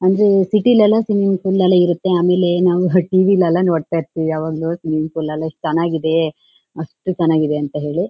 ಒಂದು ಸಿಟಿ ಲೆಲ್ಲೋ ಆಮೇಲೆ ನಾವು ಹ್ ಟಿವಿ ಲೆಲ್ಲಾ ನೋಡತಾ ಇರ್ತಿವಿ ಯಾವಾಗ್ಲೂ ಸ್ವಿಮ್ಮಿಂಗ್ ಪೂಲ್ ಎಸ್ಟ್ ಚನಾಗಿದೆ ಅಷ್ಟು ಚನ್ನಾಗಿದೆ ಅಂತ ಹೇಳಿ --